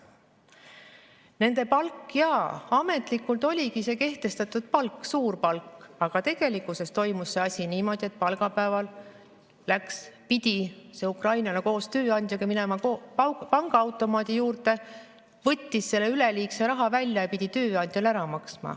Nende palk ametlikult oligi see kehtestatud suur palk, aga tegelikkuses toimus see asi niimoodi, et palgapäeval pidi see ukrainlane koos tööandjaga minema pangaautomaadi juurde, võtma üleliigse raha välja ja tööandjale ära andma.